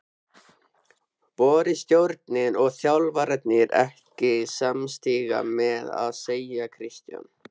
Voru stjórnin og þjálfarinn ekki samstíga með að selja Kristján?